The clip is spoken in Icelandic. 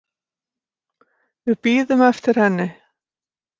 Við bíðum eftir henni